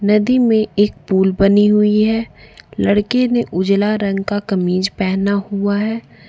नदी में एक पुल बनी हुई है लड़के उजला रंग का कमीज पहना हुआ है।